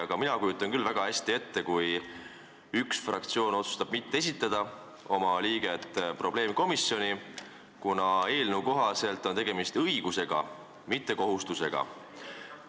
Aga mina kujutan küll väga hästi ette seda, kui üks fraktsioon otsustab mitte esitada oma liiget probleemkomisjoni, kuna eelnõu kohaselt on tegemist õiguse, mitte kohustusega.